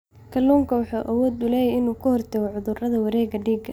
Kalluunku wuxuu awood u leeyahay inuu ka hortago cudurrada wareegga dhiigga.